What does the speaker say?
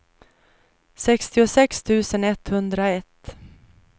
sextiosex tusen etthundraett